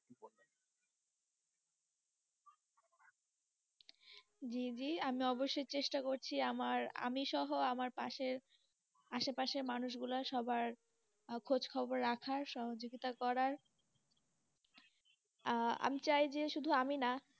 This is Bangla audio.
জি জি আমি। আমি অবশ্যই চেষ্টা করছি, আমার আমি সহ, আমার পাশে, আশেপাশের মানুষ গুলার সবার, খোঁজখবর রাখার সহযোগিতা করার আঃ আমি চাই যে শুধু আমি না,